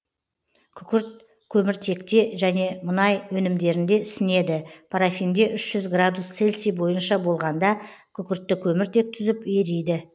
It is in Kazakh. күкірт көміртекте және мұнай өнімдерінде ісінеді парафинде үш жүз градус цельси бойынша болғанда күкіртті көміртек түзіп ериді